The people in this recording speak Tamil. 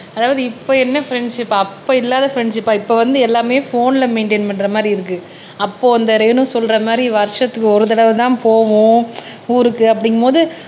அதாவது இப்ப என்ன ஃப்ரண்ட்ஷிப் அப்ப இல்லாத ஃப்ரெண்ட்ஷிப்பா இப்ப வந்து எல்லாமே போன்ல மெயின்டெயின் பண்ற மாதிரி இருக்கு அப்போ இந்த ரேணு சொல்ற மாதிரி வருஷத்துக்கு ஒரு தடவை தான் போவோம் ஊருக்கு அப்படிங்கும்போது